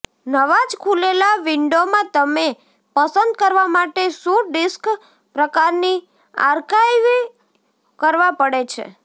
નવા જ ખુલેલા વિંડોમાં તમે પસંદ કરવા માટે શું ડિસ્ક પ્રકારની આર્કાઇવ કરવા પડે છે